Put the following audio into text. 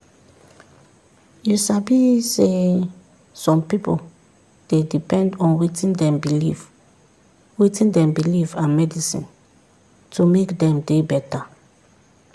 you sabi saysome pipu dey depend on wetin dem believe wetin dem believe and medicine to make dem dey beta.